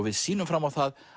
við sýnum fram á það